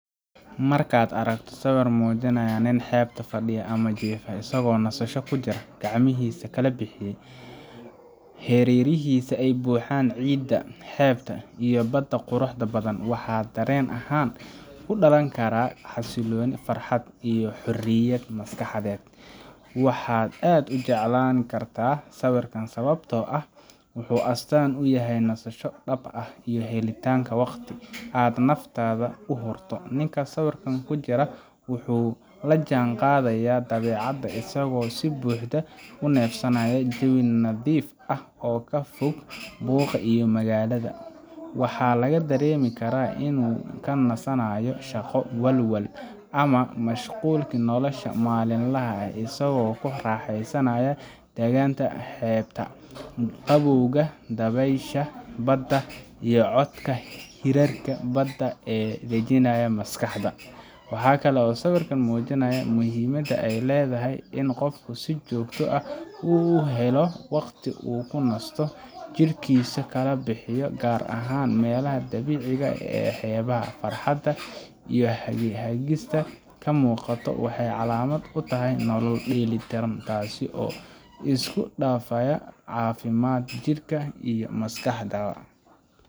Marka aad aragto sawir muujinaya nin xeebta fadhiya ama jiifa isagoo nasasho ku jira, gacmihiisa kala bixiyay, hareerihiisana ay buuxaan ciidda xeebta iyo badda quruxda badan, waxa dareen ahaan ku dhalan kara xasilooni, farxad, iyo xorriyad maskaxeed. Waxaad aad u jeclaan kartaa sawirkan sababtoo ah wuxuu astaan u yahay nasasho dhab ah iyo helitaanka waqti aad naftaada u hurto. Ninka sawirka ku jira wuxuu la jaan qaadayaa dabeecadda, isagoo si buuxda u neefsanaya jawi nadiif ah oo ka fog buuqa magaalada. Waxaa laga dareemi karaa inuu ka nasanayo shaqo, walwal ama mashquulkii nolosha maalinlaha ah, isagoo ku raaxaysanaya daganaanta xeebta, qabowga dabaysha badda, iyo codka hirarka badda oo dejinaya maskaxda. Waxaa kale oo sawirkan kuu muujinayaa muhiimadda ay leedahay in qofku si joogto ah u helo waqti uu ku nasto, jidhkiisana kala bixiyo, gaar ahaan meelaha dabiiciga ee xeebaha. Farxadda uu wajigiisa ka muuqato waxay calaamad u tahay nolol dheeli tiran, taasoo isku dhafaysa caafimaadka jidhka iyo maskaxda.